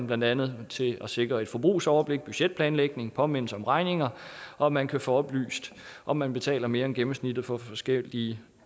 blandt andet til at sikre et forbrugsoverblik budgetplanlægning påmindelse om regninger og at man kan få oplyst om man betaler mere end gennemsnittet for forskellige